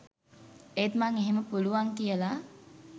ඒත් මං එහෙම පුළුවන් කියලා